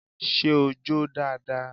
Ṣé o jó dáadáa?